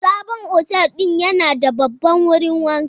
Sabon otel din yana da babban wurin wanka.